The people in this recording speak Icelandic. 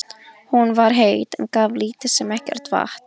Hún var heit, en gaf lítið sem ekkert vatn.